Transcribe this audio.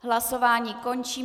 Hlasování končím.